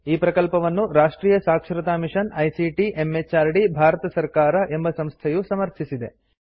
ಈ ಪ್ರಕಲ್ಪವನ್ನು ರಾಷ್ಟ್ರಿಯ ಸಾಕ್ಷರತಾ ಮಿಷನ್ ಐಸಿಟಿ ಎಂಎಚಆರ್ಡಿ ಭಾರತ ಸರ್ಕಾರ ಎಂಬ ಸಂಸ್ಥೆಯು ಸಮರ್ಥಿಸಿದೆ